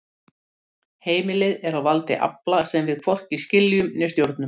Heimilið er á valdi afla sem við hvorki skiljum né stjórnum.